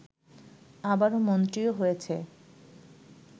আবার মন্ত্রীও হয়েছে